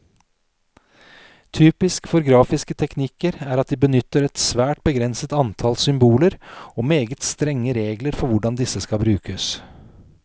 Typisk for grafiske teknikker er at de benytter et svært begrenset antall symboler, og meget strenge regler for hvordan disse skal brukes.